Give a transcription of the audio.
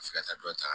Ka se ka taa dɔ ta